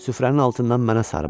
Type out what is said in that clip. Süfrənin altından mənə sarı baxdı.